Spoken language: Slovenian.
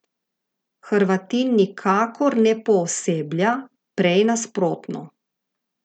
Hrvatin nikakor ne pooseblja, prej nasprotno.